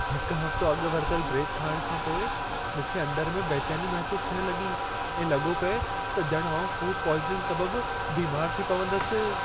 हिकु हफ़्तो अॻु वरितल ब्रेड खाइणु खां पोइ, मूंखे अंदरु में बेचैनी महिसूसु थियणु लॻी ऐं लॻो पिए त ॼणु आउं फ़ूड पॉइज़निंग सबबि बीमारु थी पवंदसि।